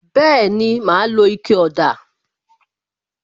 Bẹẹni, ma lo ike ọ̀dà